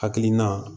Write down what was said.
Hakilina